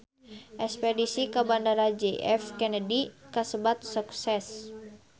Espedisi ka Bandara J F Kennedy kasebat sukses